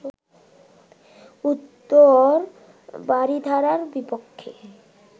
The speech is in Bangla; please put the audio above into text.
উত্তর বারিধারার বিপক্ষে